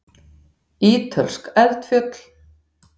Ítölsk eldfjöll.